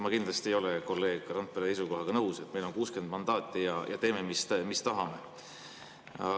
Ma kindlasti ei ole kolleeg Randpere seisukohaga nõus, et kui on 60 mandaati, siis teeme, mis tahame.